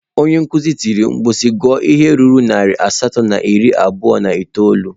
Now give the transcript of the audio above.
Onye nkuzi tiri mkpu si, gụọ ihe ruru narị asatọ na iri abụọ na itoolu!